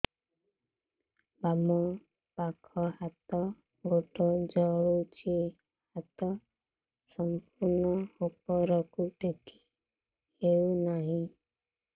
ବାମପାଖ ହାତ ଗୋଡ଼ ଜଳୁଛି ହାତ ସଂପୂର୍ଣ୍ଣ ଉପରକୁ ଟେକି ହେଉନାହିଁ